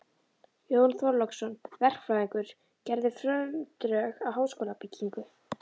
Jón Þorláksson, verkfræðingur, gerði frumdrög að háskólabyggingu